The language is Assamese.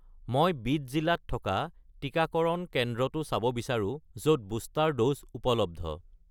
মই বিদ জিলাত থকা টিকাকৰণ কেন্দ্ৰটো চাব বিচাৰোঁ য'ত বুষ্টাৰ ড'জ উপলব্ধ।